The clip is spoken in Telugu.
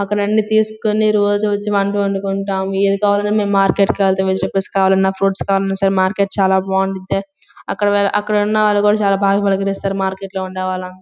అక్కడన్ని తీసుకుని రోజు వచ్చి వంట వండుకుంటాం ఏది కావాలన్నా మేము మార్కెట్ కి వెళ్తాము వెజిటబుల్స్ కావాలన్నా ఫ్రూట్స్ కావాలన్నా సరే మార్కెట్ చాలా బాగుండుద్ది అక్కడ ఉ అక్కడ ఉన్నవాళ్లు కూడా చాలా బాగా పలకరిస్తారు మార్కెట్ లో ఉండేవాళ్లంతా --